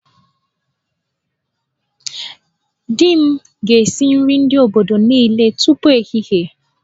Di m ga-esi nri ndị obodo niile tupu ehihie